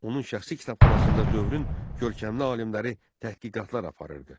Onun şəxsi kitabxanasında dövrün görkəmli alimləri tədqiqatlar aparırdı.